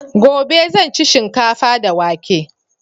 Gobe zan ci shinkafa da wake